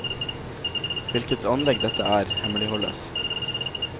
Hvilke anlegg dette er, hemmeligholdes.